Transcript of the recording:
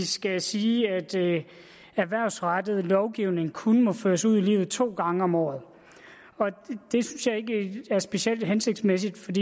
skal sige at erhvervsrettet lovgivning kun må føres ud i livet to gange om året det synes jeg ikke er specielt hensigtsmæssigt